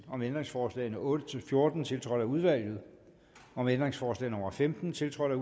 om ændringsforslag nummer otte fjorten tiltrådt af udvalget om ændringsforslag nummer femten tiltrådt af